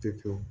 Tɛ to